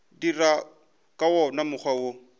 dira ka wona mokgwa wo